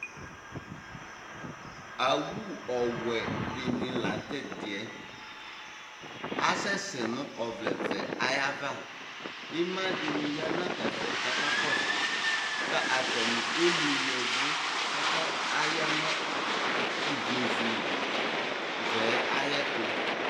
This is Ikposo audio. Awu ɔwɛ dini laŋtɛdiɛAsɛsɛ nʋ ɔvlɛ vɛ ayavaIma dini ya nɛfɛ kakakɔsʋKʋ atani emli yɛvʋ, kaka, ayanʋ ivlezu vɛɛ ayɛtu